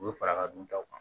U bɛ fara ka dun taw kan